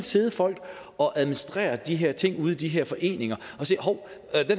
sidde folk og administrere de her ting ude i de her foreninger